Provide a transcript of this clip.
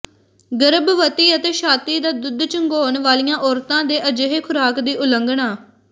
ਗਰਭਵਤੀ ਅਤੇ ਛਾਤੀ ਦਾ ਦੁੱਧ ਚੁੰਘਾਉਣ ਵਾਲੀਆਂ ਔਰਤਾਂ ਦੇ ਅਜਿਹੇ ਖੁਰਾਕ ਦੀ ਉਲੰਘਣਾ